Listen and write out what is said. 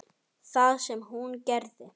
Það sem hún gerði